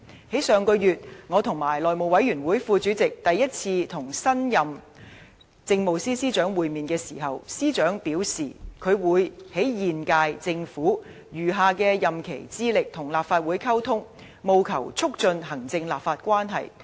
在上個月，我和內務委員會副主席第一次與新任政務司司長會面時，司長表示，他會在現屆政府餘下任期致力與立法會溝通，務求促進行政立法關係。